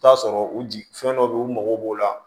T'a sɔrɔ u jigi fɛn dɔ bɛ yen u mago b'o la